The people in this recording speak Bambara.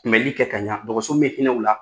Kunbɛli kɛ k'a ɲa, dɔgɔso min bɛ hinɛ u la